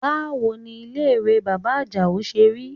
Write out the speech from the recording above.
Báwo ni ilé ìwẹ̀ bàbá Àjàó ṣe rí?